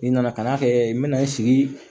N nana ka na kɛ n bɛna n sigi